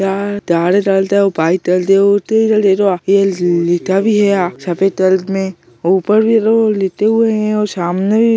सफ़ेद कलर में और ऊपर भी लोग लेटे हुए है और सामने भी --